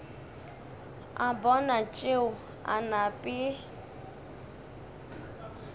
a bona tšeo a nape